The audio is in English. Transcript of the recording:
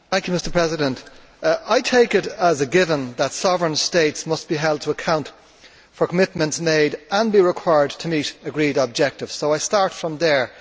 Mr President, I take it as a given that sovereign states must be held to account for commitments made and be required to meet agreed objectives, so I start from there.